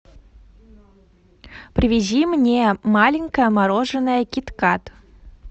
привези мне маленькое мороженое кит кат